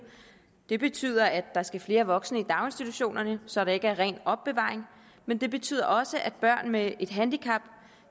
det betyder at der skal flere voksne i daginstitutionerne så det ikke er ren opbevaring men det betyder også at børn med et handicap